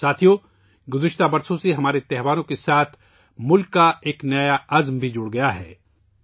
ساتھیو ، گزشتہ برسوں سے ہمارے تہواروں سے ملک کا ایک نیا عہد بھی جڑ گیا ہے